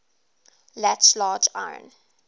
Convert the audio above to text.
latch large iron